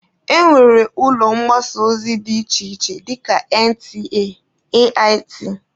E nwere ụlọ mgbasa ozi dị iche iche dịka NTA, AIT wdg.